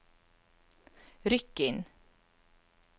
Rykkinn